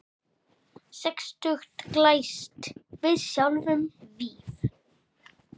Sextugt glæst við sjáum víf.